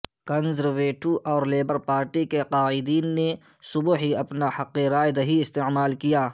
conservative اور Labour party کے قائدین نے صبح ہی اپنا حق رائے دہی استعمال کیا